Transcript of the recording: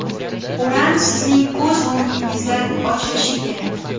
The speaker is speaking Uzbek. O‘ram sizning ko‘z o‘ngingizda ochilishi kerak.